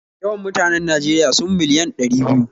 Yawan mutanen Najeriya sun miliyan ɗari biyu